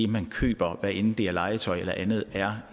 man køber hvad enten det er legetøj eller andet er